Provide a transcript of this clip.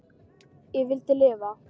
Ég vildi lifa.